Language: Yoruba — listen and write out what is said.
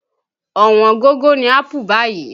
Ọ̀wọ́n gógó ni ápù báyìí